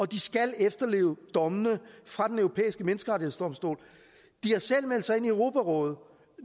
de skal efterleve dommene fra den europæiske menneskerettighedsdomstol de har selv meldt sig ind i europarådet og